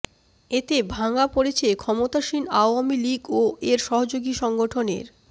এতে ভাঙা পড়েছে ক্ষমতাসীন আওয়ামী লীগ ও এর সহযোগী সংগঠনের